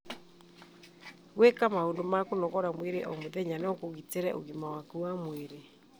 Gwĩka maũndũ ma kũnogora mwĩrĩ o mũthenya no kũgitĩre ũgima waku wa mwĩrĩ.